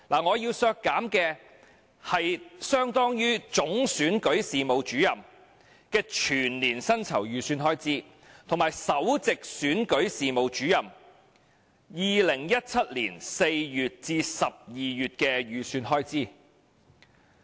我要削減的是相當於總選舉事務主任的全年薪酬預算開支，以及首席選舉事務主任2017年4月至12月的薪酬預算開支。